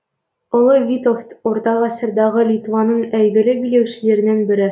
ұлы витовт ортағасырдағы литваның әйгілі билеушілерінің бірі